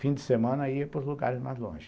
Fim de semana ia para os lugares mais longe.